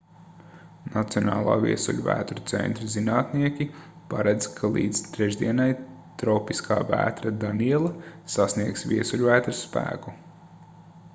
nacionālā viesuļvētru centra zinātnieki paredz ka līdz trešdienai tropiskā vētra daniela sasniegs viesuļvētras spēku